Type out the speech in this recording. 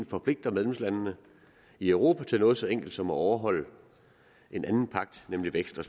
forpligter medlemslandene i europa til noget så enkelt som at overholde en anden pagt nemlig vækst og